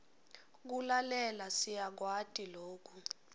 kulalela siyakwati loku